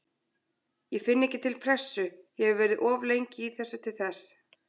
Ég finn ekki til pressu, ég hef verið of lengi í þessu til þess.